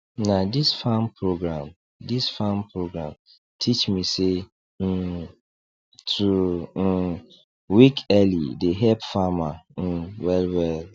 na this farm program this farm program teach me say um to um wake early dey help farmer um wellwell